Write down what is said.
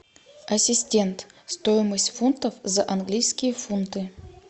ассистент стоимость фунтов за английские фунты